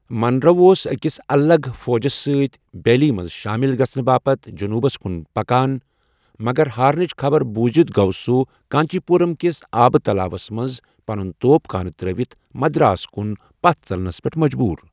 Munro اوس أکِس الگ فوجس سۭتۍ بیلی منٛز شٲمِل گژھنہٕ باپتھ جنوٗبس کُن پكان، مگر ہارنٕچ خبر بوٗزِتھ گوٚو سُہ کانچی پورمٕ کِس آبہٕ تلاوس منٛز پنن توپ خانہٕ ترٲوِتھ مدراس کُن پتھ ژلنَس پیٹھ مجبوٗر۔